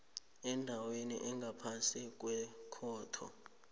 endaweni engaphasi kwekhotho